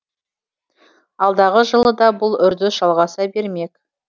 алдағы жылы да бұл үрдіс жалғаса бермек